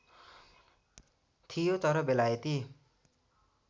थियो तर बेलायती